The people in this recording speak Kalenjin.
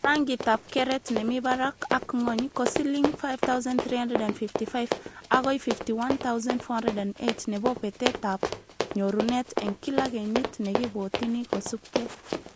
Rangitab keret nemibarak ak ngwony ko siling 5355 akoi 51,408 nebo betetab nyorunet eng kila kenyit nekibwotini, kosubke